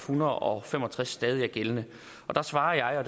hundrede og fem og tres stadig er gældende og der svarer jeg